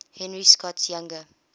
henry scott's younger